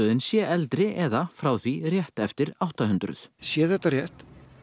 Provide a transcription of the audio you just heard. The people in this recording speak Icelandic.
sé eldri eða frá því rétt eftir átta hundruð sé þetta rétt